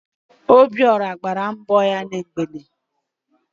Obiọra gbara mbọ ya na mgbede